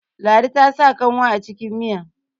ladi ta sa kanwa a cikin Miya